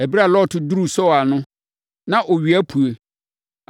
Ɛberɛ a Lot duruu Soar no, na owia apue.